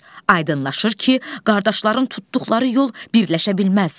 Aydınlaşır ki, qardaşların tutduqları yol birləşə bilməz.